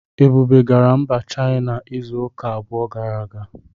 Ebube gara Mba China izu ụka abụọ gara aga